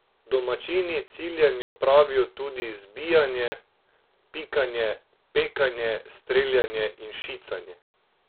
Domačini ciljanju pravijo tudi zbijanje, pikanje, pekanje, streljanje in šicanje.